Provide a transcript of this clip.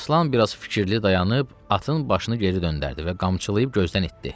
Əmiraslan biraz fikirli dayanıb atın başını geri döndərdi və qamçılayıb gözdən itdi.